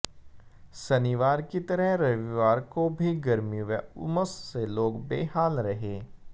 शनिवार की तरह रविवार को भी गर्मी व उमस से लोग बेहाल रहे